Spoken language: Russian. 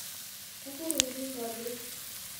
кукурузник адрес